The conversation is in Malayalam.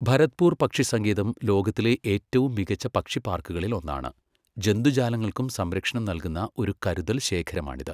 ഭരത്പൂർ പക്ഷി സങ്കേതം ലോകത്തിലെ ഏറ്റവും മികച്ച പക്ഷി പാർക്കുകളിൽ ഒന്നാണ്, ജന്തുജാലങ്ങൾക്കും സംരക്ഷണം നൽകുന്ന ഒരു കരുതൽ ശേഖരമാണിത്.